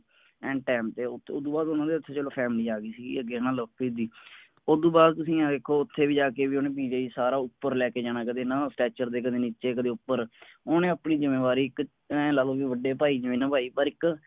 ਐਨ ਸਮਾਂਤੇ ਉਸਤੋਂ ਬਾਅਦ ਉੱਥੇ ਚਲੋ ਉਨ੍ਹਾਂ ਦੀ ਪਰਿਵਾਰਆ ਗਈ ਸੀ ਅੱਗੇ ਨਾ ਲਵਪ੍ਰੀਤ ਦੀ ਉਸਤੋਂ ਬਾਅਦ ਤੁਸੀਂ ਦੇਖੋ ਉੱਥੇ ਵੀ ਜਾ ਕੇ ਓਹਨੇ ਸਾਰਾ ਉੱਪਰ ਲਾਇ ਕੇ ਜਾਣਾ ਕਦੇ ਨਾ ਤੇ ਕਦੇ ਨੀਚੇ ਕਦੇ ਉੱਪਰ ਓਹਨੇ ਆਪਣੀ ਜੁੰਮੇਵਾਰੀ ਐਨ ਲਾਲੋ ਵੱਡੇ ਭਾਈ ਜਿਵੇਂ ਨਿਭਾਈ ਪਰ ਇੱਕ